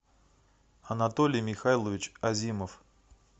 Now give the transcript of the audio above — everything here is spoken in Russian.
анатолий михайлович азимов